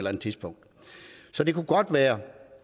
andet tidspunkt så det kunne godt være